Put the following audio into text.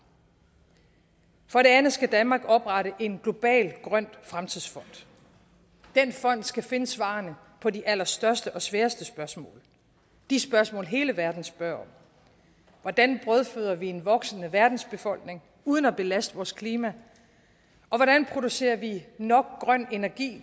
for det andet skal danmark oprette en global grøn fremtidsfond den fond skal finde svarene på de allerstørste og sværeste spørgsmål de spørgsmål hele verden spørger om hvordan brødføder vi en voksende verdensbefolkning uden at belaste vores klima og hvordan producerer vi nok grøn energi